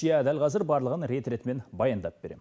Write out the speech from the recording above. иә дәл қазір барлығын рет ретімен баяндап берем